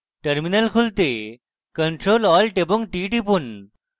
terminal খুলতে ctrl + alt + t টিপুন